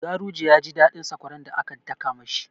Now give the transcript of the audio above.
Garuje ya ji daɗin sakwaran da aka daka ma shi.